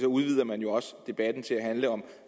udvider man jo også debatten til at handle om